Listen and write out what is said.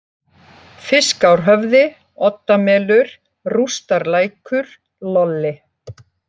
Fiskárhöfði, Oddamelur, Rústarlækur, Lolli